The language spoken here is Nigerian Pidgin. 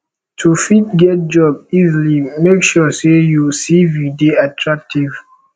to fit get job easily make sure say you cv de attractive